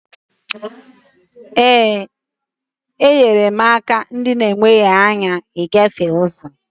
ee, enyere m ndị ọlụsị aka ịgafe ụzọ